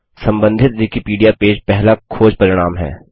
संबंधित Wikipedia page पहला खोज परिणाम है